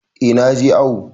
Eh na je awo.